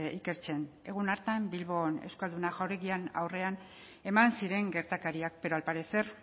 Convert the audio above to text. ikertzen egun hartan bilbon euskalduna jauregiaren aurrean eman ziren gertakariak pero al parecer